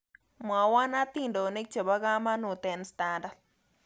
Mwowon hatindonik chebo kamanuut eng standat